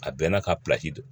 A bɛɛ n'a ka don